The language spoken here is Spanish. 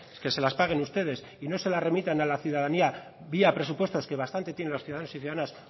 que se las paguen ustedes y no se las remitan a la ciudadanía vía presupuestos que bastante tienen los ciudadanos y ciudadanas